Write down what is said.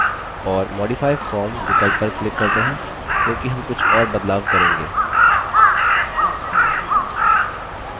और modify form विकल्प पर click करते हैं क्योंकि हम कुछ और बदलाव करेंगे